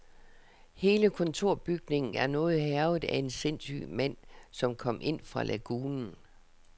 Hele kontorbygningen er noget hærget af en sindssyg mand som kom ind fra lagunen.